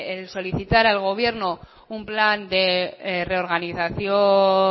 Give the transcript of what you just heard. el solicitar al gobierno un plan de reorganización